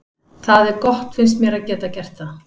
Það er gott finnst mér að geta gert það.